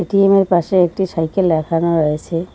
এটিএমের পাশে একটি সাইকেল রাখানো রয়েছে।